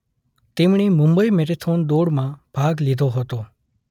તેમણે મુંબઈ મેરેથોન દોડમાં ભાગ લીધો હતો.